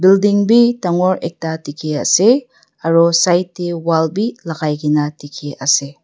building bhi dagor ekta dekhi ase aru side te wall logai kina dekhi ase.